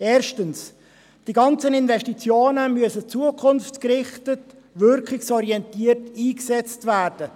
Erstens: Die ganzen Investitionen müssen zukunftsgerichtet und wirkungsorientiert eingesetzt werden.